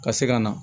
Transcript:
Ka se ka na